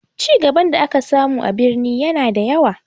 Cigaban da aka samu a birni ya na da yawa